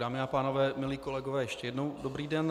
Dámy a pánové, milí kolegové, ještě jednou dobrý den.